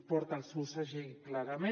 porta el seu segell clarament